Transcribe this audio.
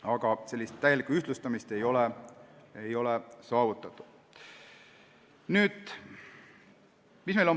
Aga täielikku ühtlustumist ei ole saavutatud.